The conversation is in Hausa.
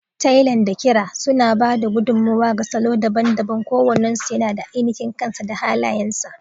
Tailan da ƙira suna ba da gudummawa ga salo daban-daban, kowannensu yana da ainihin kansa da halayensa.